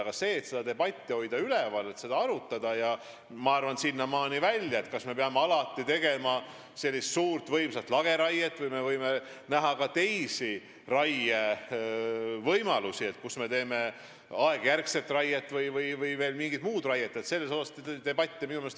Aga minu meelest võiks seda arutada, debatti üleval hoida küll – sinnamaani välja, kas me peame alati tegema suurt, võimsat lageraiet või näeme ka teisi raie tegemise võimalusi, aegjärgset raiet või mingit muud raiet.